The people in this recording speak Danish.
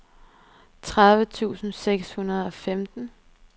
tredive tusind seks hundrede og femten